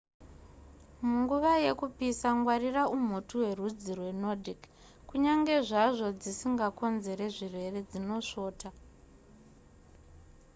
munguva yekupisa ngwarira umhutu hwerudzi rwenordic kunyange zvazvo dzisingakonzere zvirwere dzinosvota